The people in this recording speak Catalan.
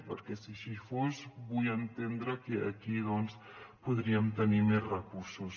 perquè si així fos vull entendre que aquí doncs podríem tenir més recursos